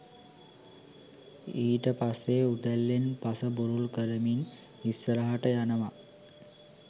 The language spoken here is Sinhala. ඊට පස්සෙ උදැල්ලෙන් පස බුරුල් කරමින් ඉස්සරහට යනව